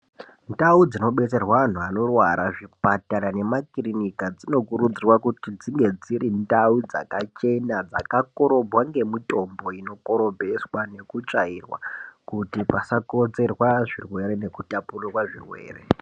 Ndau dzinobetserwa anhu anorwara zvipatara nemakirinika dzinokurudzirwa kuti dzinge dziri ndau dzakachena dzakakorobwa ngemitombo inokorobweswa nekutsvairwa kuti pasakonzerwa zvirwere nekutapurirwa zvirwere.